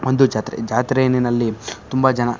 ಒಂದು ಜಾತ್ರೆ ಜಾತ್ರೆನೀನಲ್ಲಿ ತುಂಬ ಜನ--